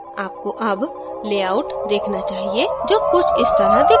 आपको अब layout देखना चाहिए जो कुछ इस तरह दिखता है